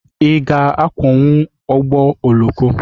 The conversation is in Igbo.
Ị ga-akwọnwu ụgbọ oloko?